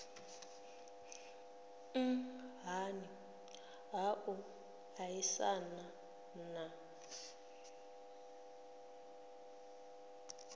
nhani ha u aisana na